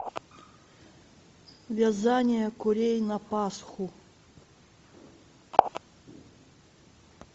вязание курей на пасху